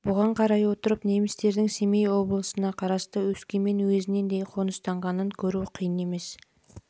бұған қарай отырып немістердің семей облысына қарасты өскемен уезінен де қоныстанғаны көру қиын емес